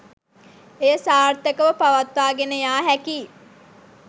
එය සාර්ථකව පවත්වාගෙන යා හැකියි